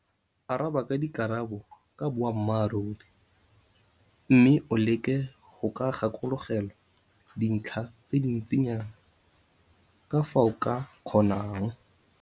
Araba ka dikarabo ka boammaruri mme o leke go gakologelwa dintlha tse di ntsinyana ka fa o ka kgonang.